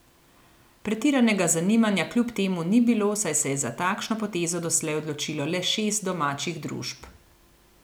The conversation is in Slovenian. Pretiranega zanimanja kljub temu ni bilo, saj se je za takšno potezo doslej odločilo le šest domačih družb.